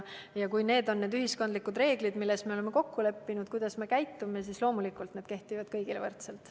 Kui sellised on ühiskondlikud reeglid, milles me oleme kokku leppinud, et kuidas me käitume, siis loomulikult kehtivad need kõigile võrdselt.